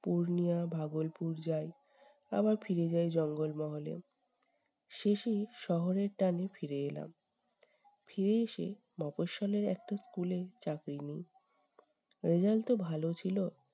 পূর্ণিয়া ভাগলপুর যাই। আবার ফিরে যাই জঙ্গল মহলে। শেষেই শহরের টানে ফিরে এলাম। ফিরে এসে মফস্বলের একটা school এ চাকরি নিই। result তো ভালো ছিল